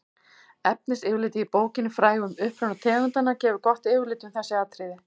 efnisyfirlitið í bókinni frægu um uppruna tegundanna gefur gott yfirlit um þessi atriði